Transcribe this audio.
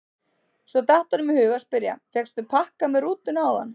Svo datt honum í hug að spyrja: fékkstu pakka með rútunni áðan?